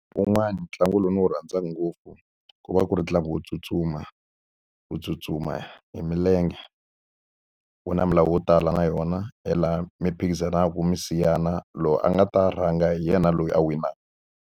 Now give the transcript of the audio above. Wun'wani ntlangu lowu ndzi wu rhandzaka ngopfu ku va ku ri ntlangu wo tsutsuma. U tsutsuma hi milenge. Wu na milawu yo tala na yona hi laha mi phikizanaka mi siyana, loyi a nga ta rhanga hi yena loyi a winaka.